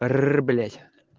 рр блять